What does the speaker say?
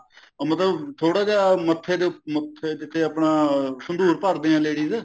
ਮਤਲਬ ਥੋੜਾ ਜਿਆ ਮੱਥੇ ਦੇ ਮੱਥੇ ਤੇ ਜਿੱਥੇ ਆਪਣੇ ਸਿੰਦੂਰ ਭਰਦੀਆਂ ladies